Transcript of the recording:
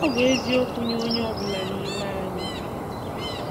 Ọ bụ eziokwu nye onye ọ bụla nime anyị.